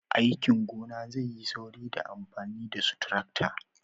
aikin gona zai yi sauri da amfani da su tarakta